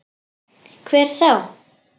Hver þá?